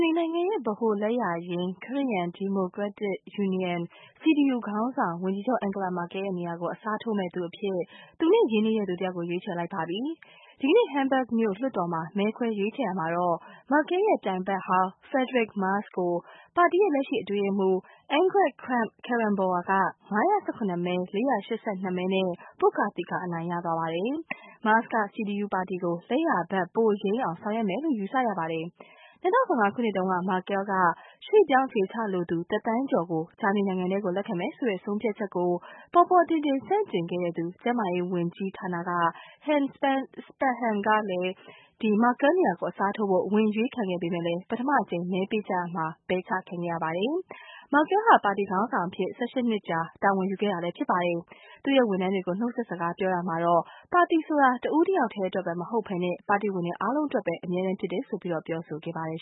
နီနိုင်ငံရဲ့ ဗဟိုလက်ယာယိမ်း ခရစ္စယာန်ဒီမိုကရက်တစ်ယူနီယမ် CDU ခေါင်းဆောင် ဝန်ကြီးချုပ် Angela Merkel ရဲ့ နေရာကို အစားထိုးမယ့်သူ ရွေးချယ်လိုက်ပါတယ်။ ဒီကနေ့ Hamburg မြို့ လွှတ်တော်မှာ မဲခွဲရွေးချယ်ရာမှာတော့ Merkel ရဲ့ ပြိုင်ဖက်ဟောင်း Friedrich Merz ကို ပါတီရဲ့ လက်ရှိအတွင်းရေးမှူး Annegret Kramp-Karrenbauer က ၅၁၇ မဲ ၄၈၂ မဲနဲ့ ပွတ်ကာသီကာအနိုင်ရလိုက်ပါတယ်။ Merz က CDU ပါတီကို လက်ယာဖက် ပိုယိမ်းအောင် ဆောင်ရွက်မယ်လို့ ယူဆရပါတယ်။ ၂၀၁၅ ခုနှစ်တုန်းက Merkel က ရွှေ့ပြောင်းအခြေချလိုသူ ၁ သန်းကျော်ကို ဂျာမနီနိုင်ငံထဲ လက်ခံမယ်ဆိုတဲ့ ဆုံးဖြတ်ချက်ကို ပေါ်ပေါ်ထင်ထင်ဆန့်ကျင်ခဲ့သူ ကျန်းမာရေးဝန်ကြီးဌာနက Jens Spahn ကလည်း Merkel နေရာကိုအစားထိုးဖို့ ဝင်အရွေးခံခဲ့ပေမယ့် ပထမတကြိမ် မဲပေးကြရာမှာပဲ ပယ်ချခံလိုက်ရပါတယ်။ Merkel ဟာ ပါတီခေါင်းဆောင်အဖြစ် ၁၈ နှစ်ကြာ တာဝန်ယူခဲ့တာလည်း ဖြစ်ပါတယ်။ သူ့ရဲ့ ဝန်ထမ်းတွေကို နှုတ်ဆက်စကားပြောရာမှာတော့ ပါတီဆိုတာ တဦးတယောက်ထဲအတွက်ပဲ မဟုတ်ဘဲ ပါတီဝင်တွေအားလုံးအတွက်ပဲ အမြဲတမ်းဖြစ်တယ်လို့ ပြောဆိုခဲ့ပါတယ်